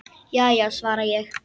Já já, svara ég.